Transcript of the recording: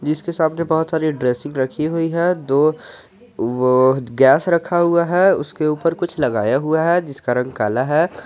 जिसके सामने बहुत सारी ड्रेसिंग रखी हुई है दो वो गैस रखा हुआ है उसके ऊपर कुछ लगाया हुआ है जिसका रंग काला है।